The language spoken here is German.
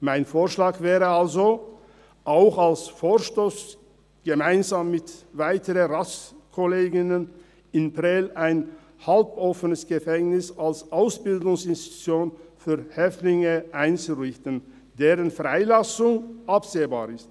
Mein Vorschlag wäre also – auch als Vorstoss gemeinsam mit weiteren Ratskollegen und -kolleginnen –, in Prêles ein halboffenes Gefängnis als Ausbildungsinstitution für Häftlinge einzurichten, deren Freilassung absehbar ist.